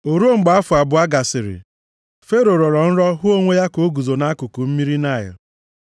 O ruo mgbe afọ abụọ gasịrị, Fero rọrọ nrọ hụ onwe ya ka o guzo nʼakụkụ mmiri Naịl.